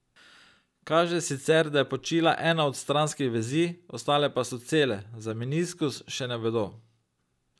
Kaže sicer, da je počila ena od stranskih vezi, ostale pa so cele, za meniskus še ne vedo.